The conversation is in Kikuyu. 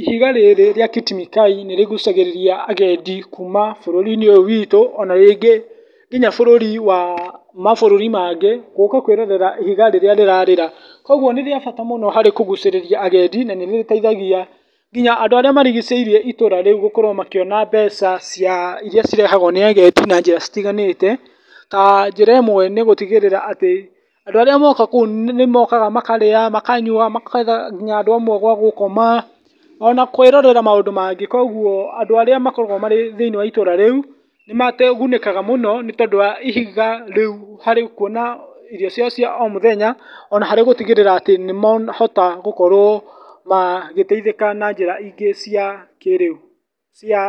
Ihiga rĩrĩ rĩa Kit Mikayi nĩ rĩgucagĩrĩria agendi kuma bũrũri-inĩ ũyũ witũ, ona rĩngĩ kuma bũrũri, wa mabũrũri mangĩ gũka kwĩrorera ihiga rĩrĩa rĩrarĩra, koguo nĩ rĩa bata mũno harĩ kũgucĩrĩria agendi na nĩ rĩteithagia nginya andũ arĩa marigicĩirie itũra rĩu gũkorwo makĩona mbeca iria irehagwo nĩ agendi na njĩra citiganĩte, a njĩra imwe nĩgũtigĩrĩra atĩ andũ arĩa mokaga, nĩ mokaga kũu makarĩa, makanyua, makahe andũ amwe gwa gũkoma, ona kwĩrorera maũndũ mangĩ, koguo andũ arĩa makoragwo marĩ thĩiniĩ wa itũra rĩu, nĩ magunĩkaga mũno nĩ tondũ wa ihiga rĩu harĩ kuona irio ciao cia o mũthenya, ona gũtigĩrĩra atĩ nĩ mahotaga gũkorwo magĩteithĩka na njĩra ingĩ cia kĩrĩu, cia